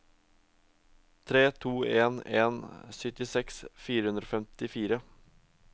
tre to en en syttiseks fire hundre og femtifire